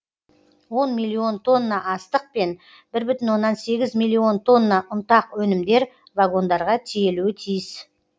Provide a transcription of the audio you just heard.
он миллион тонна астық пен бір бүтін оннан сегіз миллион тонна ұнтақ өнімдер вагондарға тиелуі тиіс